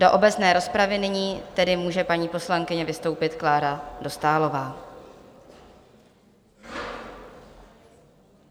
Do obecné rozpravy nyní tedy může paní poslankyně vystoupit, Klára Dostálová.